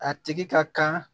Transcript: A tigi ka kan